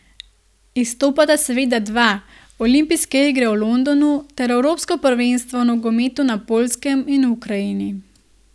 Izstopata seveda dva, olimpijske igre v Londonu ter evropsko prvenstvo v nogometu na Poljskem in v Ukrajini.